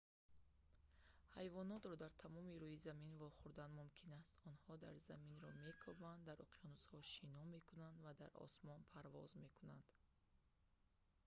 ҳайвонотро дар тамоми рӯи замин вохӯрдан мумкин аст онҳо заминро мекобанд дар уқёнусҳо шино мекунанд ва дар осмон парвоз мекунанд